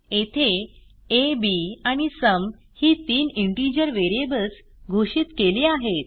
येथे a b आणि sum ही तीन इंटिजर व्हेरिएबल्स घोषित केली आहेत